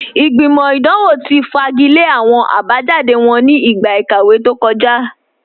Ìgbìmọ̀ idanwọ̀ ti fagilẹ̀ awọn abajáde wọn ní igba ikàwé tó kọ̀já